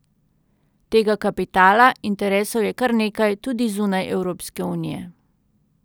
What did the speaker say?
Tega kapitala, interesov je kar nekaj, tudi zunaj Evropske unije.